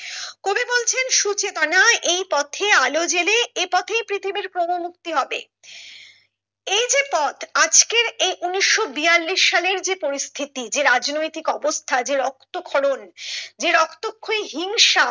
সুচেতনায় এই তথ্যে আলো জ্বেলে এই পথেই পৃথিবীর ক্রম মুক্তি হবে এই যে পথ আজকের এই ঊনিশশো বিয়াল্লিশ সালের যে পরিস্থিতি যে রাজনৈতিক অবস্থা যে রক্ত ক্ষরণ যে রক্তক্ষয়ী হিংসা